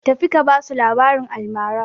Tafi ka ba su labaran almara!